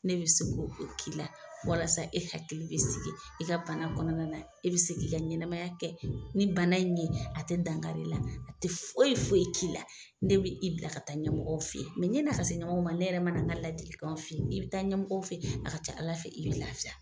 Ne be se k'o o k'i la walasa e hakili bɛ sigi i ka bana kɔnɔna na. E bi se k'i ka ɲɛnamaya kɛ ni bana in ye a tɛ dankar'i la, a td foyi foyi k'i la ne bi i bila ka taa ɲɛmɔgɔw fe ye. ɲɛn'a ka se ɲɔmɔɔw ma ne yɛrɛ mana nka ladilikanw f'i ye, i bi taa ɲɛmɔgɔw fɛ, a ka ca Ala fɛ i be lafiya.